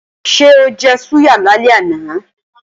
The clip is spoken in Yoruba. Ṣé ó jẹ súyà lálẹ́ àná?